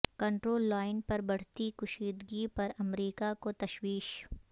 control line پر بڑھتی کشیدگی پر امریکہ کو تشویش